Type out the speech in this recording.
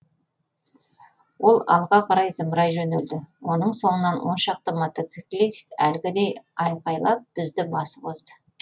ол алға қарай зымырай жөнелді оның соңынан он шақты мотоциклист әлгідей айқайлап бізді басып озды